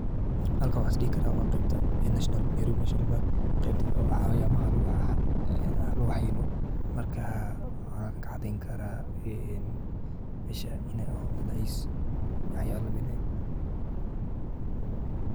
Halkan waxa is dehi karah wa Qebta national park Qeebta xawayano lagu xananeyoh kadibwaxan kacadeyni karah mesha inay waxyalaha lamit.